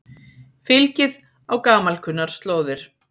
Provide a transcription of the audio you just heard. Fylgið á gamalkunnar slóðir